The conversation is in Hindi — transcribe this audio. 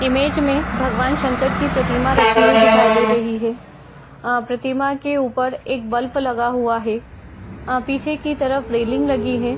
इमेज में भगवान् शंकर की प्रतिमा रखी हुई दिखाई दे रही है। आं प्रतिमा के ऊपर एक बल्फ लगा हुआ है। अं पीछे की तरफ रेलिंग लगी है।